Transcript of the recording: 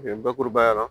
Bakurubaya la